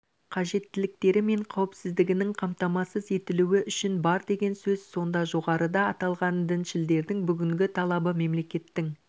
қажеттіліктері мен қауіпсіздігінің қамтамасыз етілуі үшін бар деген сөз сонда жоғарыда аталғандіншілдердің бүгінгі талабы мемлекеттің